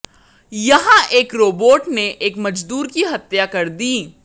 यहां एक रोबोट ने एक मजदूर की हत्या कर दी